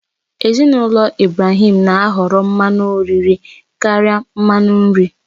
Ezinụlọ Ibrahim na ahọrọ mmanụ oriri karịa mmanụ nri